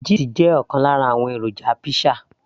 cheese jẹ́ ọ̀kan lára àwọn èròjà pizza